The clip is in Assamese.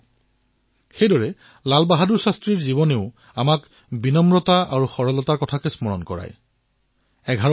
ঠিক সেইদৰে শাস্ত্ৰীজীৰ জীৱনেও আমাক বিনম্ৰতা আৰু সহনশীলতাৰ শিক্ষা দিয়ে